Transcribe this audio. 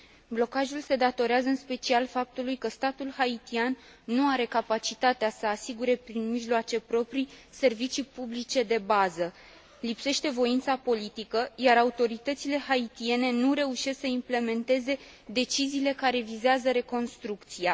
Blocajul se datorează în special faptului că statul haitian nu are capacitatea să asigure, prin mijloace proprii, servicii publice de bază. Lipsește voința politică, iar autoritățile haitiene nu reușesc să implementeze deciziile care vizează reconstrucția.